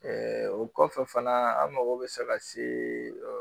o kɔfɛ fana an mago bɛ se ka se